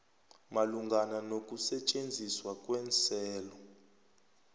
malungana nokusetjenziswa kweenselo